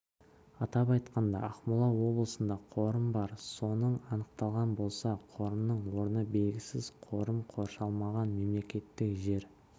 атап айтқанда ақмола облысында қорым бар соның анықталған болса қорымның орны белгісіз қорым қоршалмаған мемлекеттік жер